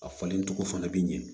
A falen cogo fana bɛ ɲɛ